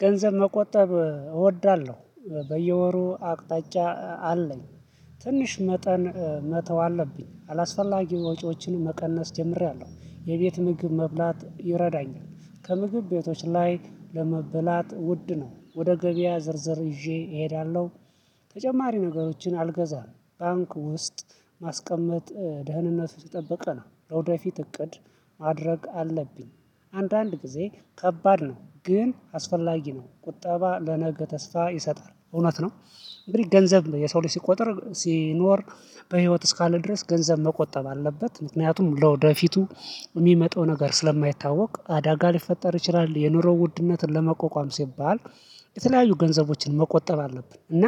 ገንዘብ መቆጠብ እወዳለሁ በየወሩ አቅጣጫ አለኝ ትንሽ መጠን መተው አለብኝ አላስፈላጊ ወጪዎችን መቀነስ ጀምሬያለሁ የቤት ምግብ መብላት ይረዳኛል። ከምግብ ቤቶች ላይ ለመበላት ውድ ነው ወደ ገበያ ዝርዝር ይዤ እሄዳለሁ። ተጨማሪ ነገሮችን አልገዛም ባንክ ውስጥ ማስቀመጥ ደህንነቱ የተጠበቅ ነው። ለወደፊት እቅድ ማድረግ አለብኝ። አንዳንድ ጊዜ ከባድ ነው ግን አስፈላጊ ነው ቁጠባ ለነገ ተስፋ ይሰጣል እውነት ነው። እንግዲህ ገንዘብ የሰው ልጅ ሲቆጠር ሲኖር በህይወት እስካለ ድረስ ገንዘብ መቆጠብ አለበት። ምክንያቱም ለወደፊቱ የሚመጣው ነገር ስለማይታወቅ አዳጋ ሊፈጠር ይችላል። የኑሮ ውድነትን ለመቆቋም ሲባል የተለያዩ ገንዘቦችን መቆጠብ አለብን። እና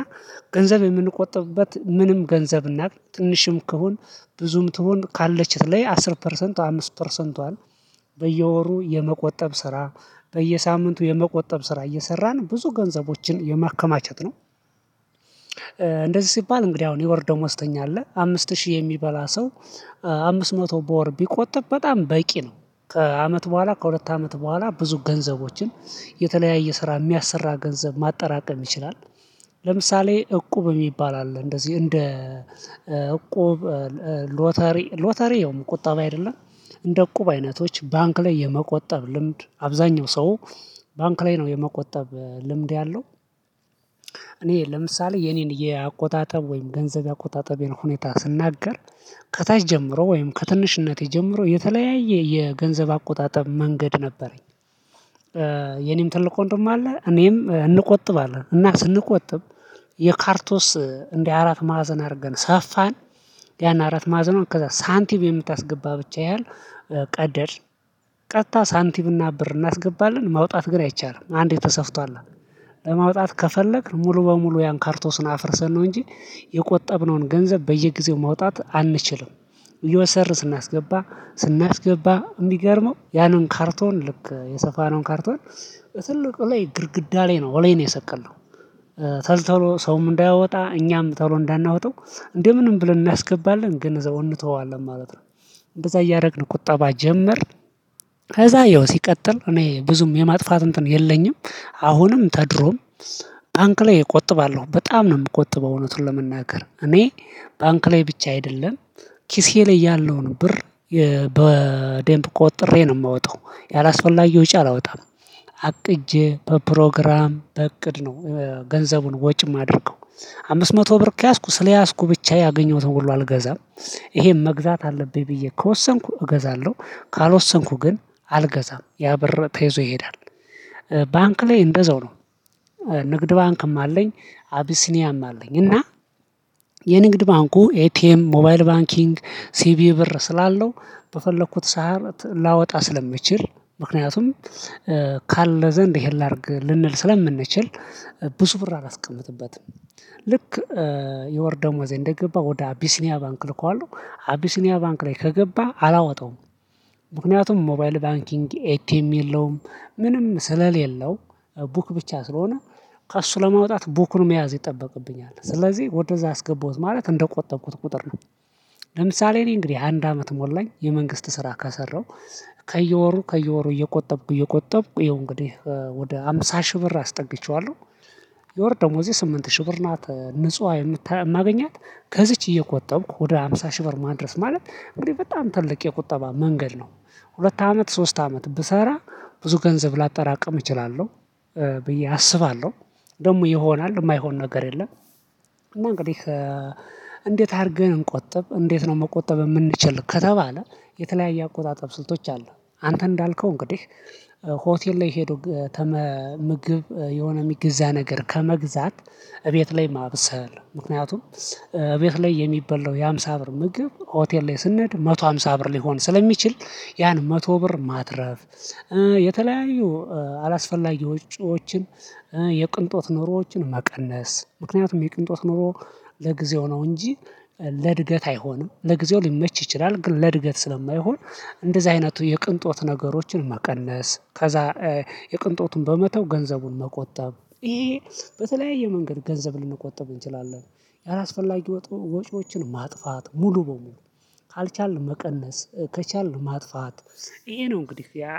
ገንዘብ የምንቆጥብበት ምንም ገንዘብ እናቅ ትንሽም ክሁን ብዙም ትሁን ካለች ትለይ አስር ፐርሰንት አምስት ፐርሰንቷን በየወሩ የመቆጠብ ስራ በየሳምንቱ የመቆጠብ ስራ እየሰራን ብዙ ገንዘቦችን የማከማቸት ነው። እንደዚህ ሲባል እንግዲህ አሁን የወር ደሞዝተኛ አለ አምስት ሺህ የሚበላ ሰው አምስት መቶ በወር ቢቆጥብ በጣም በቂ ነው። ከአመት በኋላ ከሁለት አመት በኋላ ብዙ ገንዘቦችን የተለያየ ስራ የሚያሰራ ገንዘብ ማጠራቀም ይችላል። ለምሳሌ እቁብ የሚባል አለ እንደዚህ እንደ እቁብ ሎተሪ ሎተሪ ያውም ቁጠባ አይደለም። እንደ አቁብ አይነቶች ባንክ ላይ የመቆጠብ ልምድ አብዛኛው ሰው ባንክ ላይ ነው የመቆጠብ ልምድ ያለው። እኔ ለምሳሌ የኔን የአቆጣጠብ ወይም ገንዘብ አቆጣጠብን ሁኔታ ስናገር ከታች ጀምሮ ወይም ከትንሽነቴ ጀምሮ የተለያየ የገንዘብ አቆጣጠብ መንገድ ነበረኝ። የኔም ትልቅ ወንድም አለ እኔም እንቆጥብ አለን እና ስንቆጥብ የካርቶስ እንዲህ አራት ማዕዘን አድርገን ሰፋን። ያን አራት ማዕዘን ከዛ ሳንቲም የምታስገባ ብቻ ያህል ቀደድን። ቀጥታ ሳንቲም እና ብር እናስገባለን መውጣት ግን አይቻልም አንዴ ተሰፍቷላ። ለማውጣት ከፈለክ ሙሉ በሙሉ ያን ካርቶስን አፍርሰን ነው እንጂ የቆጠብነውን ገንዘብ በየጊዜው ማውጣት አንችልም። እይወሰር ስናስገባ ስናስገባ እሚገርመው ያንን ካርቶን ልክ የሰፋነውን ካርቶን ትልቅ እለይ ግርግዳ ላይ ነው እለይ ነው የሰቀለው። ተልተሎ ሰውም እንዳያወጣ እኛም ተብሎ እንዳናወጣው እንዴ ምንም ብለን እናስገባለን ግን ዘውን እንተወዋለን ማለት ነው። እንደዛ እያደረግን ቁጠባ ጀመርን። ከዛ ያው ሲቀጥል እኔ ብዙም የማጥፋት እንትን የለኝም። አሁንም ተድሮም ታንክ ላይ እቆጥባለሁ በጣም ነው የምቆጥበው። እውነቱን ለመናገር እኔ ባንክ ላይ ብቻ አይደለም። ኪሴ ላይ ያለውን ብር በዴምፕ ቆጥሬ ነው የምወጣው ያላስፈላጊ ወጪ አላወጣም። አቅጄ በፕሮግራም በእቅድ ነው ገንዘቡን ወጪ የማደርገው አምስት መቶ ብር ከያዝኩ ስለያዝኩ ብቻ ያገኘሁትን ሁሉ አልገዛም። ይሄም መግዛት አለብኝ ብዬ ከወሰንኩ እገዛለሁ። ካልወሰንኩ ግን አልገዛም ያ በር ተይዞ ይሄዳል። ባንክ ላይ እንደዛው ነው። ንግድ ባንክም አለኝ አቢሲኒያም አለኝ እና። የንግድ ባንኩ ኤቲኤም ሞባይል ባንኪንግ ሲቪ ብር ስላለው በፈለኩት ሳር ላወጣ ስለሚችል ምክንያቱም ካለ ዘንድ ይሄን ላድርግ ልንል ስለምንችል ብዙ ብር አላስቀምጥበትም። ልክ የወር ደሞዜ እንደገባ ወደ አቢሲኒያ ባንክ ልኮ አሉ አቢሲኒያ ባንክ ላይ ከገባ አላወጣውም። ምክንያቱም ሞባይል ባንኪንግ ኤክቲኤም የለውም። ምንም ስለሌለው ቡክ ብቻ ስለሆነ ከእሱ ለማውጣት ቡክን መያዝ ይጠበቅብኛል ስለዚህ ወደዛ አስገባሁት ማለት እንደቆጠብኩት ቁጥር ነው። ለምሳሌ እኔ እንግዲህ አንድ አመት ሞላኝ የመንግስት ስራ ከሰራው ከየወሩ ከየወሩ እየቆጠብኩ እየቆጠብኩ ይሄው እንግዲህ ወደ አምሳ ሺህ ብር አስጠግቼዋለሁ። የወር ደሞዜ ስምንት ሺህ ብር ናት ንጹህ የማገኛት ከዚች እየቆጠብኩ ወደ ሃምሳ ሺህ ብር ማድረስ ማለት እንግዲህ በጣም ትልቅ የቁጠባ መንገድ ነው። ሁለት አመት ሶስት አመት ብሰራ ብዙ ገንዘብ ላጠራቀም እችላለሁ። ብዬ አስባለሁ ደግሞ ይሆናል የማይሆን ነገር የለም። እና እንግዲህ እንዴት አድርገን እንቆጥብ እንዴት ነው መቆጠብ የምንችል ከተባለ? የተለያየ አቆጣጠብ ስልቶች አሉ። አንተ እንዳልከው እንግዲህ ሆቴል ላይ ሄዶ ምግብ የሆነ የሚገዛ ነገር ከመግዛት። እቤት ላይ ማብሰል ምክንያቱም እቤት ላይ የሚበላው የሃምሳ ብር ምግብ ሆቴል ላይ ስንሄድ አንድ መቶ አምሳ ብር ሊሆን ስለሚችል ያን መቶ ብር ማትረፍ። የተለያዩ አላስፈላጊ ውጪዎችን። የቅንጦት ኖሮዎችን መቀነስ ምክንያቱም የቅንጦት ኖሮ ለጊዜው ነው እንጂ። ለእድገት አይሆንም ለጊዜው ሊመች ይችላል ግን ለእድገት ስለማይሆን። እንደዚህ አይነቱ የቅንጦት ነገሮችን መቀነስ ከዛ የቅንጦቱን በመተው ገንዘቡን መቆጠብ ይሄ። በተለያየ መንገድ ገንዘብ ልንቆጠብ እንችላለን። ያላስፈላጊ ወጥሮ ወጪዎችን ማጥፋት ሙሉ በሙሉ ካልቻልን መቀነስ ከቻልን ማጥፋት። ይሄ ነው እንግዲህ ያ